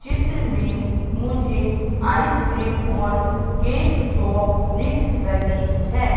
चित्र में मुझे आइसक्रीम और केक शॉप दिख रही है।